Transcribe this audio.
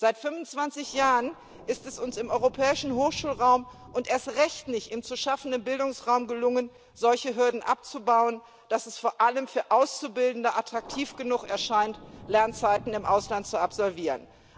Seit 25 Jahren ist es uns im Europäischen Hochschulraum und erst recht im zu schaffenden Bildungsraum nicht gelungen, solche Hürden so abzubauen, dass es vor allem für Auszubildende attraktiv genug erscheint, Lernzeiten im Ausland zu absolvieren.